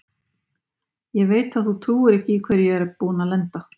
Ég veit að þú trúir ekki í hverju ég er búinn að lenda.